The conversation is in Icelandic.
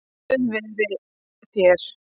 Guð veri þér.